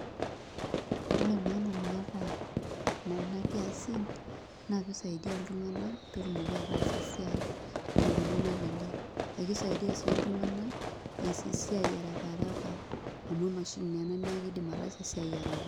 Ore maana naata nena kiasin, naa pisaidia iltung'anak petumoki ataas esiai tenkoitoi nalelek. Ekisaidia si iltung'anak ees esiai arakaraka, amu emashini neena neeku kidim ataasa esiai araka.